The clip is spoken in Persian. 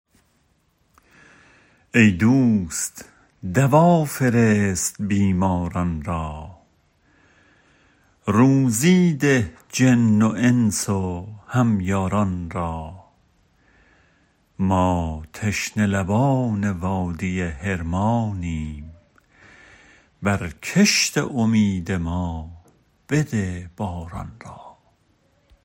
ای دوست دوا فرست بیماران را روزی ده جن و انس و هم یاران را ما تشنه لبان وادی حرمانیم بر کشت امید ما بده باران را